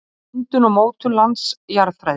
Myndun og mótun lands- Jarðfræði.